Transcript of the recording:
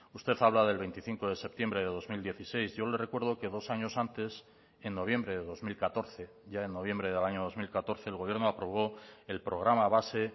usted habla del veinticinco de septiembre de dos mil dieciséis yo le recuerdo que dos años antes en noviembre de dos mil catorce ya en noviembre del año dos mil catorce el gobierno aprobó el programa base